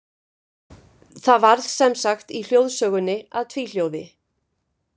Það varð sem sagt í hljóðsögunni að tvíhljóði.